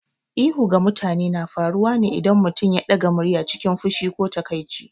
Ihu ga mutane na faruwa ne idan mutum ya ɗaga murya cikin fushi ko takaici.